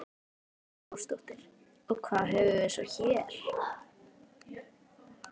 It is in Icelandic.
Hrund Þórsdóttir: Og hvað höfum við svo hér?